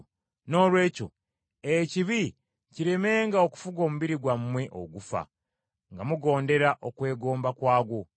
Noolwekyo ekibi kiremenga okufuga omubiri gwammwe ogufa, nga mugondera okwegomba kwagwo.